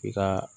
I ka